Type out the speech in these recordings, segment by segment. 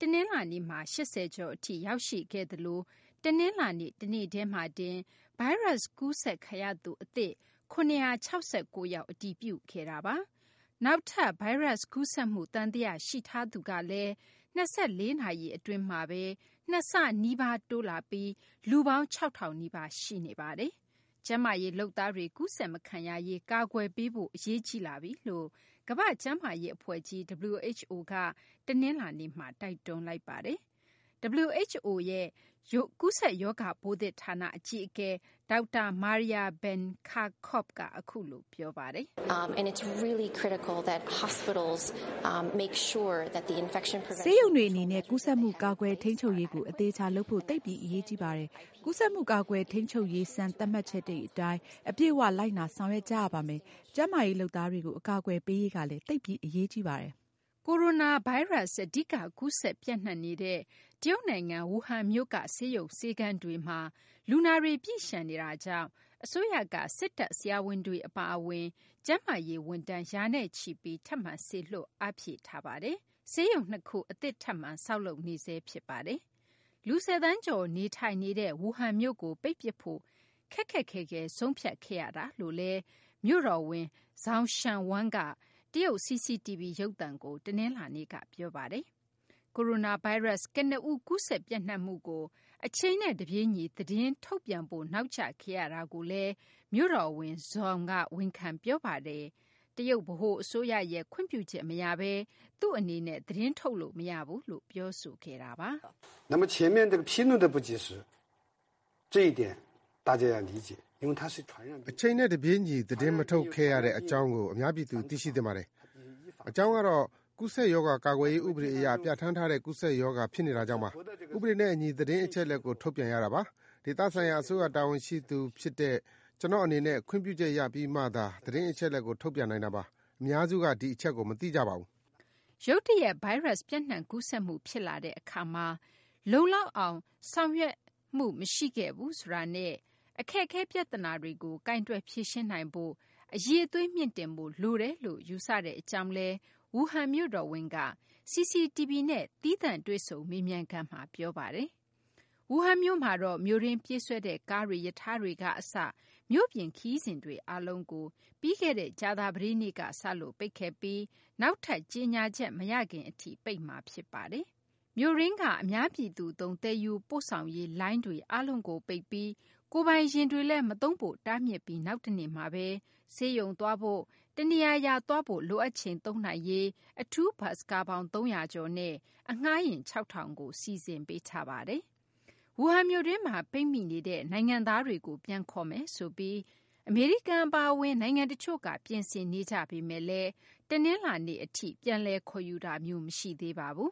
တနလာၤနေ့မှာ ၈၀ ကျော် အထိ ရောက်ရှိခဲ့သလို တနလာၤနေ့တနေ့တည်းမှာတင် ဗိုင်းရပ်စ်ကူးစက်ခံရသူ အသစ် ၇၆၉ ယောက် အတည်ပြုခဲ့ပါတယ်။ နောက် ဗိုင်းရပ်ကူးစက်မှု သံသယ ရှိသူကလည်း ၂၄ နာရီ အတွင်းမှာဘဲ ၂ ဆနီးပါး တိုးလာပြီး လူပေါင်း ၆၀၀၀ နီးပါး ရှိနေပါတယ်။ ကျန်းမာရေး လုပ်သားတွေ ကူးစက်မခံရရေး ကာကွယ်ပေးဖို့ အရေးကြီးလာပြီလို့ ကမ္ဘာ့ကျန်းမာရေး အဖွဲ့ကြီး WHO ကလည်း တနလာၤနေ့မှာ တိုက်တွန်းပါတယ်။ WHO ရဲ့ ကူးစက်ရောဂါပိုးသစ် ဌာန အကြီးအကဲ ဒေါက်တာ Maria Van Kerkhove က အခုလို ပြောပါတယ်။ “ဆေးရုံတွေ အနေနဲ့ ကူးစက်မှု ကာကွယ် ထိန်းချုပ်ရေးကို အသေအချာ လုပ်ဖို့ သိပ်ပြီး အရေးကြီးပါတယ်။ ကူးစက်မှု ကာကွယ် ထိန်းချုပ်ရေး စံသတ်မှတ်ချက်တွေ အတိုင်း အပြည့်အ၀ လိုက်နာ ဆောင်ရွက် ကြရပါမယ်။ ကျန်းမာရေး လုပ်သားတွေကို အကာအကွယ်ပေးရေးကလည်း သိပ်ပြီး အရေးကြီးပါတယ်။” Coronavirus အဓိက ကူးစက်ပျံ့နှံ့နေတဲ့ တရုတ်နိုင်ငံ Wuhan မြို့က ဆေးရုံ ဆေးခန်းတွေမှာ လူနာတွေ ပြည့်လျှံနေတာကြောင့် အစိုးရက စစ်တပ် ဆရာဝန်တွေ အပါအဝင် ကျန်းမာရေး ဝန်ထမ်း ရာနဲ့ချီပြီ ထပ်မံ စေလွှတ် အားဖြည့်ထားပြီး ဆေးရုံ ၂ ခုလည်း အသစ် ထပ်ပြီး ဆောက်နေပါတယ်။ ဆေးရုံတွေကတော့ ဆောက်လုပ်နေဆဲ ဖြစ်ပါတယ်။ လူ ၁၀ သန်းကျော် နေထိုင်နေတဲ့ Wuhan မြို့ကို ပိတ်ပစ်ဖို့ ခက်ခက်ခဲခဲ ဆုံးဖြတ်ခဲ့ရတယ်လို့လည်း Wuhan မြို့တော်ဝန် Zhou Xianwang က တရုတ် CCTV ရုပ်သံကို တနလာၤနေ့က ပြောပါတယ်။ ဒါ့အပြင် Coronavirus ကနဦး ကူးစက်ပျံ့နှံ့မှုကို အချိန်နဲ့ တပြေးညီ သတင်းထုတ်ပြန်ဖို့ နောက်ကျခဲ့ရတာကိုလည်း မြို့တော်ဝန် Zhou က ဝန်ခံ ပြောဆိုပါတယ်၊ တရုတ် ဗဟိုအစိုးရရဲ့ ခွင့်ပြုချက် မရဘဲ သူ့အနေနဲ့ သတင်းထုတ်လို့ မရဘူးလို့လည်း ပြောဆိုခဲ့ပါတယ်။ “အချိန်နဲ့ တပြေးညီ သတင်းမထုတ်ခဲ့ရတဲ့ အကြောင်းကို အများပြည်သူ သိရှိသင့်ပါတယ်။ အကြောင်းကတော့ ကူးစက်ရောဂါ ကာကွယ်ရေး ဥပဒေ အရ ပြဌာန်းထားတဲ့ ကူးစက်ရောဂါ ဖြစ်နေတာကြောင့်ပါ။ ဥပဒေနဲ့ အညီ သတင်းအချက်အလက်ကို ထုတ်ပြန်ရတာပါ။ ဒေသဆိုင်ရာ အစိုးရ တာဝန်ရှိသူ ဖြစ်တဲ့ ကျနော့် အနေနဲ့ ခွင့်ပြုချက် ရပြီးမှသာ သတင်းအချက်အလက်ကို ထုတ်ပြန်နိုင်တာပါ။ အများစုက ဒီအချက်ကို မသိကြပါဘူး။” ရုတ်တရက် ဗိုင်းရပ်စ် ပျံ့နှံ့ ကူးစက်မှု ဖြစ်လာတဲ့ အခါမှာ ဆောင်ရွက်ချက်တွေက လုံလောက်မှု မရှိခဲ့ဘူးဆိုတာနဲ့ အခက်အခဲ ပြသနာတွေကို ကိုယ်တွယ် ဖြေရှင်းနိုင်ဖို့ အရည်အသွေး မြှင့်တင်ဖို့ လိုတယ်လို့ သူ့အနေနဲ့ ယူဆတဲ့ အကြောင်းလည်း Wuhan မြို့တော်ဝန်က CCTV နဲ့ သီးသန့် တွေ့ဆုံ မေးမြန်းခန်းမှာ ပြောဆိုသွားပါတယ်။ Wuhan မြို့မှာတော့ မြို့တွင်း ပြေးဆွဲတဲ့ ကားတွေ၊ ရထားတွေက အစ မြို့ပြင် ခရီးစဉ်တွေ အားလုံးကို ပြီးခဲ့တဲ့ ကြာသပတေးက စလို့ ပိတ်ခဲ့ပြီး နောက်ထပ် ကြေညာချက် မရခင် အထိ ပိတ်ထားမှာ ဖြစ်ပါတယ်။ မြို့တွင်းက အများပြည်သူသုံး သယ်ယူပို့ဆောင်ရေး လိုင်းတွေ အားလုံးကိုပိတ်ပြီး ကိုယ်ပိုင်ယာဉ်တွေ မသုံးဖို့လည်း တားမြစ်ပြီး နောက်တနေ့မှာဘဲ ဆေးရုံသွားဖို့၊ တနေရာရာ သွားဖို့ လိုအပ်ချိန်မှာ သုံးနိုင်ရေး အထူးဘတ်စ်ကားပေါင်း ၃၀၀ ကျော်နဲ့ အငှားယာဉ် ၆,၀၀၀ ကို စီစဉ်ပေးထားပါတယ်။ Wuhan မြို့တွင်းမှာ ပိတ်မိနေတဲ့ နိုင်ငံသားတွေကို ပြန်ခေါ်မယ်ဆိုပြီး အမေရိကန် အပါအဝင် နိုင်ငံ တချို့က ပြင်ဆင်နေကြပေမယ့်လည်း တနလာၤနေ့ အထိ ပြန်လည် ခေါ်ယူတာမျိုး မရှိသေးပါဘူး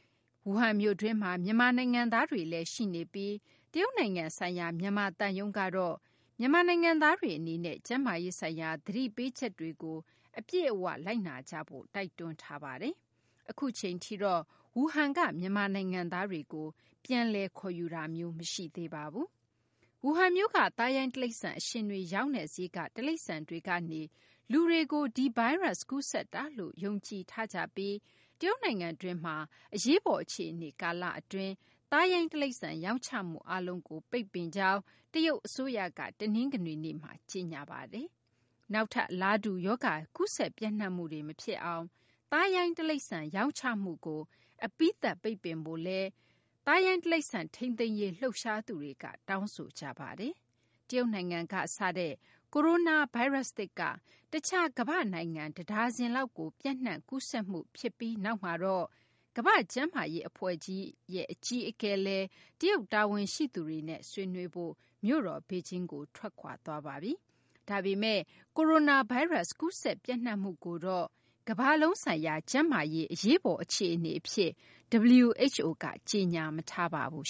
။ Wuhan မြို့တွင်းမှာ ပိတ်မိနေတဲ့ အထဲမှာ မြန်မာနိုင်ငံသားတွေလည်း ရှိနေပြီး တရုတ်နိုင်ငံဆိုင်ရာ မြန်မာ သံရုံးကတော့ မြန်မာနိုင်ငံသားတွေ အနေနဲ့ ကျန်းမာရေးဆိုင်ရာ သတိပေးချက်တွေကို အပြည့်အ၀ လိုက်နာကြဖို့ တိုက်တွန်းထားပါတယ်။ အခုအချိန်ထိတော့ Wuhan မှာ ရှိနေတဲ့ မြန်မာနိုင်ငံသားတွေကိုလည်း ပြန်လည် ခေါ်ယူတာမျိုး မရှိသေးပါဘူး။ Wuhan မြို့က သားရိုင်း တိရိစ္ဆာန် အရှင်တွေ ရောင်းတဲ့ဈေးက တိရိစ္ဆာန်တွေကနေ လူတွေကို ကူးစက်တာလို့ ယုံကြည်ထားကြပြီး တရုတ်နိုင်ငံတွင်းမှာ အရေးပေါ် အခြေအနေ ကာလအတွင်း သားရိုင်း တိရိစ္ဆာန် ရောင်းချမှုအားလုံးကို ပိတ်ပင်ကြောင်း တရုတ် အစိုးရက တနင်္ဂနွေနေ့မှာ ကြေညာထားပါတယ်။ နောက်ထပ် အလားတူ ရောဂါ ကူးစက် ပျံ့နှံ့မှုတွေ မဖြစ်အောင် သားရိုင်းတိရိစ္ဆာန် ရောင်းချမှုကို အပြီးသတ် ပိတ်ပင်ဖို့လည်း သားရိုင်းတိရိစ္ဆာန် ထိန်းသိမ်းရေး လှုပ်ရှားသူတွေ တောင်းဆိုကြပါတယ်။ တရုတ်နိုင်ငံမှာ စတဲ့ Coronavirus သစ်က တခြား ကမ္ဘာ့ နိုင်ငံ တဒါဇင်လောက်ကို ပျံ့နှံ့ကူးစက်မှု ြဖစ်ပြီးနောက်မှာတော့ ကမ္ဘာ့ကျန်းမာရေး အဖွဲ့ အကြီးအကဲ Tedros Adhanom Ghebreyesus လည်း တရုတ် တာဝန်ရှိသူတွေနဲ့ ဆွေးနွေးဖို့ မြို့တော် ဘေဂျင်းကို ထွက်ခွာသွားပါပြီ။ ဒါပေမယ့် Coronavirus ကူးစက်ပျံ့နှံ့မှုကို ကမ္ဘာလုံးဆိုင်ရာ ကျန်းမာရေး အရေးပေါ် အခြေအနေ အဖြစ်တော့ WHO က ကြေညာမထားပါဘူး